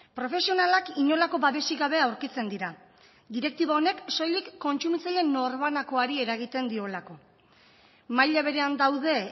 profesionalak inolako babesik gabe aurkitzen dira direktiba honek soilik kontsumitzaileen norbanakoari eragiten diolako maila berean daude